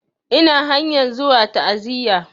Ina hanyan zuwa ta'aziya